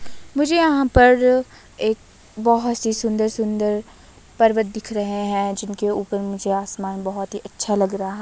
मुझे यहां पर एक बहोत सी सुंदर सुंदर पर्वत दिख रहे है जिनके ऊपर मुझे आसमान बहोत ही अच्छा लग रहा--